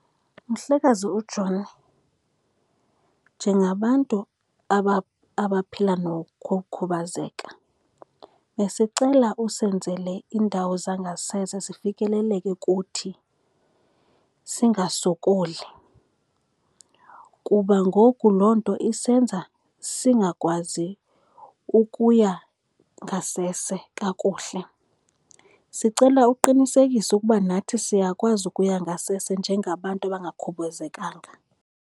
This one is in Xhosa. Mhlekazi uJoni njengabantu abaphila nokukhubazeka besicela usenzele iindawo zangasese zifikeleleke kuthi singasokoli, kuba ngoku loo nto isenza singakwazi ukuya ngasese kakuhle. Sicela uqinisekise ukuba nathi siyakwazi ukuya ngasese njengabantu abangakhubuzekanga.